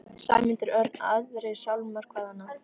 Sæmundur Örn, Aðrir sálmar, hvað annað?